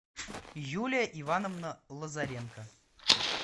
юлия ивановна лазаренко